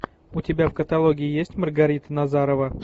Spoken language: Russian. у тебя в каталоге есть маргарита назарова